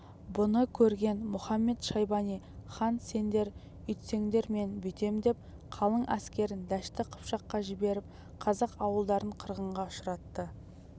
бұны көрген мұхамед-шайбани хан сендер үйтсеңдер мен бүйтемдеп қалың әскерін дәшті қыпшаққа жіберіп қазақ ауылдарын қырғынға ұшыратты